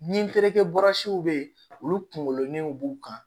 Ni terikɛ burasiw bɛ yen olu kunkololenw b'u kan